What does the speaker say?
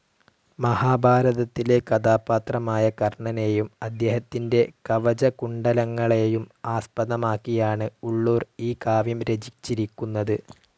മഹാഭാരതത്തിലെ കഥാപാത്രമായ കർണനേയും അദ്ദേഹത്തിൻ്റെ കവചകുണ്ഡലങ്ങളെയും ആസ്പദമാക്കിയാണ് ഉളളൂർ ഈ കാവ്യം രചിച്ചിരിക്കുന്നത്.